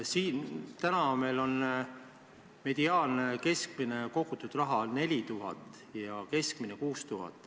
Täna on meil teise sambasse kogutud summa mediaan 4000 eurot ja keskmine summa 6000 eurot.